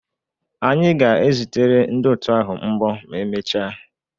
Anyị ga-ezitere ndị otu ahụ mbọ ma emechaa